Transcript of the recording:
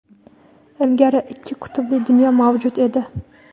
Ilgari ikki qutbli dunyo mavjud edi.